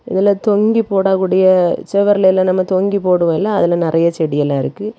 இதுல தொங்கி போடக்கூடிய செவர்லெல்லா நம்ம தொங்கி போடுவோ இல்ல அதுல நறைய செடி எல்லா இருக்கு.